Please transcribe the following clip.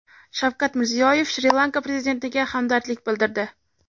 Shavkat Mirziyoyev Shri-Lanka prezidentiga hamdardlik bildirdi.